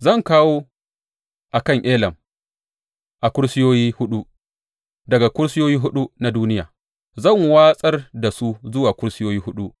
Zan kawo a kan Elam a kusurwoyi huɗu daga kusurwoyi huɗu na duniya; zan watsar da su zuwa kusurwoyi huɗu,